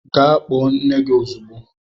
Gaa kpọọ nne gị ozugbo!